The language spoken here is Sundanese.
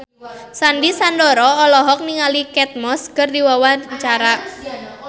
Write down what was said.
Sandy Sandoro olohok ningali Kate Moss keur diwawancara